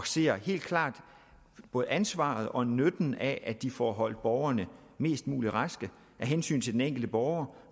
ser helt klart både ansvaret og nytten af at de får holdt borgerne mest mulig raske af hensyn til den enkelte borger